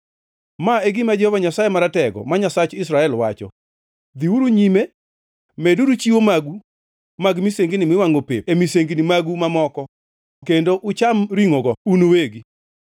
“ ‘Ma e gima Jehova Nyasaye Maratego, ma Nyasach Israel wacho: Dhiuru nyime, meduru chiwo magu mag misengini miwangʼo pep e misengini magu mamoko kendo ucham ringʼogo un uwegi!